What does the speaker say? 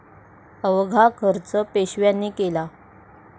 अवघा खर्च पेशव्यांनी केला